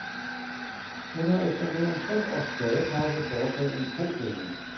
Hun har efter mere end tre års pladepause foretaget en kovending.